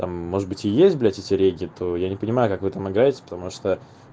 там может быть и есть блять эти реги я не понимаю как вы там играете потому что